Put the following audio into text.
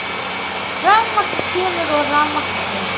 Rafmagn kemur og rafmagn fer.